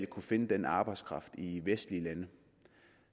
kunne finde den arbejdskraft i vestlige lande